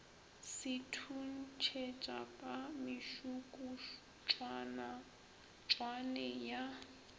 se thuntšhetša ka mešukutšwane ya